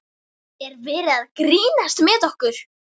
Er verið að grínast með okkur?